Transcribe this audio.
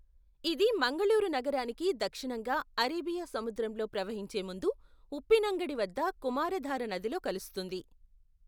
ఇది మంగళూరు నగరానికి దక్షిణంగా అరేబియా సముద్రంలో ప్రవహించే ముందు ఉప్పినంగడి వద్ద కుమారధార నదిలో కలుస్తుంది.